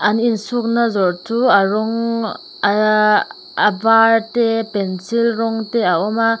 an insukna zawrh chu a rawng ehh a var te pencil rawng te a awma.